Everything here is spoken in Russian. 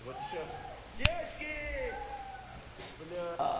вот ещё девочки уху бля